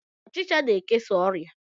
Ọchicha na-ekesa oria